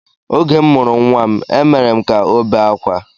Oge m mụrụ nnwa m, e mere ka ọ bee akwa